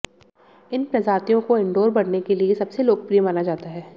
इन प्रजातियों को इनडोर बढ़ने के लिए सबसे लोकप्रिय माना जाता है